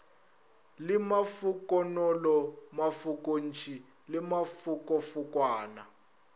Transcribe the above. le mafokonolo mafokontši le mafokofokwana